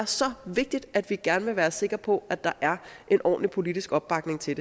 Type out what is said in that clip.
så vigtigt at vi gerne vil være sikre på at der er en ordentlig politisk opbakning til